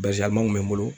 Basiyann'u bɛ n bolo